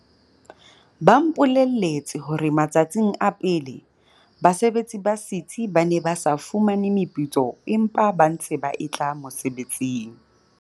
Ba mpole lletse hore matsatsing a pele, basebetsi ba setsi ba ne ba sa fumane meputso empa ba ntse ba etla mosebetsing.